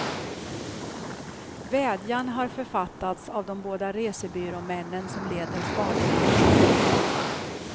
Vädjan har författats av de båda resebyråmännen som leder spaningarna.